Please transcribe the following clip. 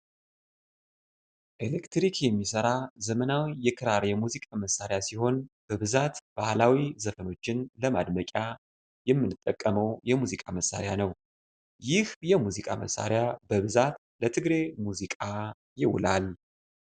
ኤሌክትሪክ የሚሠራ ዘመናዊ የክራር የሙዚቃ መሳሪያ ሲሆን በብዛት ባህላዊ ዘፈኖችን ለማድመቅያ የምንጠቀመው የሙዚቃ መሳሪያ ። ይህ የሙዚቃ መሳሪያ በብዛት ለትግሬ ሙዚቃ ይውላል።